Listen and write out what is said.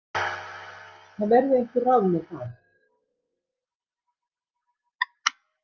Það verði einhver ráð með það.